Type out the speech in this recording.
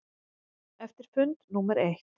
Eftir fund númer eitt.